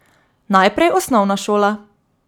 Najprej osnovna šola.